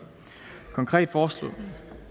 konkret foreslås